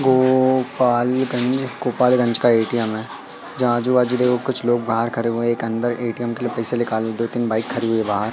गोपालगंज गोपालगंज का ए_टी_एम है जहां आजू बाजू देखो कुछ लोग बाहर खड़े हुए हैं एक अंदर ए_टी_एम के लिए पैसे निकालने के लिए दो तीन बाइक खड़ी हुई है बाहर।